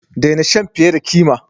Daina shan fiye da kima!